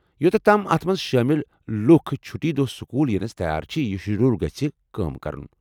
Youth تام اتھ منٛز شٲمل لُکھ چُھٹی دۄہ سکوٗل ینس تیار چھ، یہ شیڈول گژھ کٲم کرُن۔